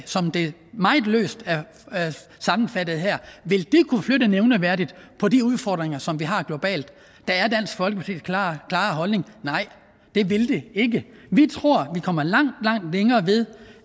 som det meget løst er sammenfattet her kunne flytte nævneværdigt på de udfordringer som vi har globalt der er dansk folkepartis klare holdning nej det ville det ikke vi tror vi kommer langt langt længere ved